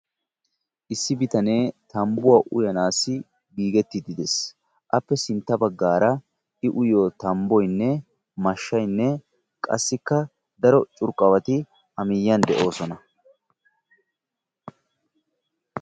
Issi bitanee tambbuwa uyanaassi giigettiiddi de'es. Appe sintta baggaara I uyiyo tambboynne mashshaynne qassikka daro curqqabati a miyyiyan de'oosona.